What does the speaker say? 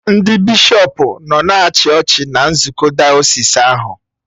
Ndị bishọpụ nọ na-achị ọchị na nzukọ dayọsis ahụ